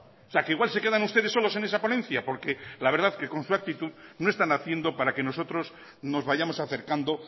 o sea que igual se quedan ustedes solos en esa ponencia porque la verdad que con su actitud no están haciendo para que nosotros nos vayamos acercando